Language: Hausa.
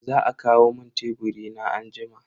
Za a kawo mun teburi na anjima.